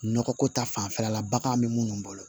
Nɔgɔ ko ta fanfɛla la bagan be munnu bolo